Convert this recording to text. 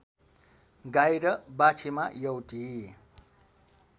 गाई र बाछीमा एउटी